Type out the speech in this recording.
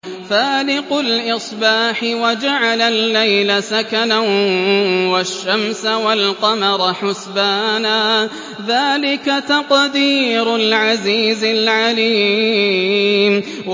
فَالِقُ الْإِصْبَاحِ وَجَعَلَ اللَّيْلَ سَكَنًا وَالشَّمْسَ وَالْقَمَرَ حُسْبَانًا ۚ ذَٰلِكَ تَقْدِيرُ الْعَزِيزِ الْعَلِيمِ